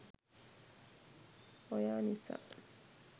oya nisa